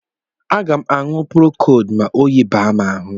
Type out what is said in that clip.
Aga m aṅụ Prokod ma oyi baa m ahụ